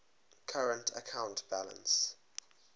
current account balance